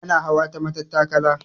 Ana hawa ta matattakala.